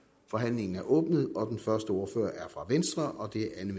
forhandlingen er åbnet den første ordfører er fra venstre